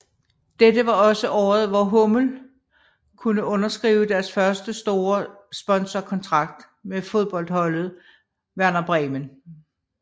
Dette var også året hvor hummel kunne underskrive deres første store sponsorkontrakt med fodboldholdet Werder Bremen